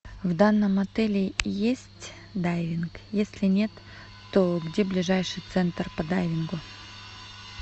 в данном отеле есть дайвинг если нет то где ближайший центр по дайвингу